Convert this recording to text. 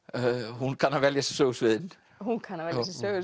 hún kann að velja sér sögusviðin hún kann að velja